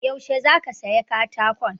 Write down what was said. Yaushe za ka saya katakon?